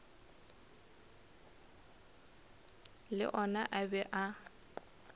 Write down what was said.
le ona a be a